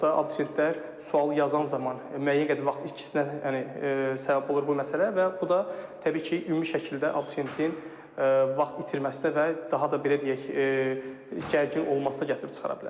Sual səhv olduqda abituriyentlər sualı yazan zaman müəyyən qədər vaxt ikisinə yəni səbəb olur bu məsələ və bu da təbii ki, ümumi şəkildə abituriyentin vaxt itirməsinə və daha da belə deyək gərgin olmasına gətirib çıxara bilər.